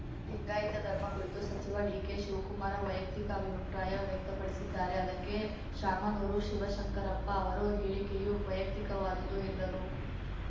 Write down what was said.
ಲಿಂಗಾಯಿತ ಧರ್ಮ ಕುರಿತು ಸಚಿವ ಡಿಕೆಶಿವ್ ಕುಮಾರ ವೈಯಕ್ತಿಕ ಅಭಿಪ್ರಾಯ ವ್ಯಕ್ತಪಡಿಸಿದ್ದಾರೆ ಅದಕ್ಕೆ ಶಾಮನೂರು ಶಿವಶಂಕರಪ್ಪ ಅವರು ಹೇಳಿಕೆಯೂ ವೈಯಕ್ತಿಕವಾದುದು ಎಂದರು